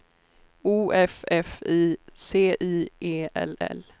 O F F I C I E L L